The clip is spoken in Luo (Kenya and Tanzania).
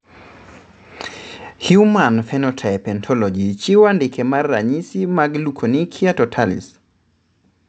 Human Phenotype Ontology chiwo andike mar ranyisi mag Leukonychia totalis.